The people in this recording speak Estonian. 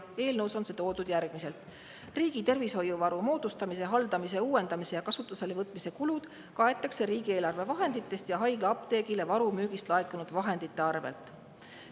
Eelnõus on see kirjas järgmiselt: "Riigi tervishoiuvaru moodustamise, haldamise, uuendamise ja kasutuselevõtmise kulud kaetakse riigieelarve vahenditest ja haiglaapteegile varu müügist laekunud vahendite arvelt.